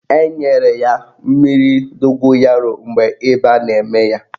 Enyere ya mmiri dogoyaro mgbe ịba na-eme ya.